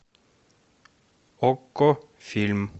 окко фильм